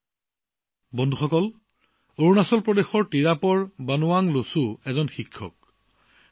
বন্ধুসকল বানৱাং লছুজী অৰুণাচল প্ৰদেশৰ টিৰাপৰ শিক্ষক